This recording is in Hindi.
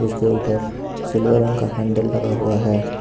इसके ऊपर सिल्वर रंग का हैंडल लगा हुआ है।